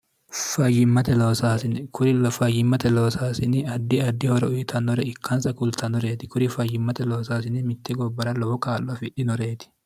fmkrifayyimmate loosaasini adi addi horo uyitannore ikkansa kultannoreeti kuri fayyimmate loosaasini mitte gobbara lowo kaallo afidhinoreeti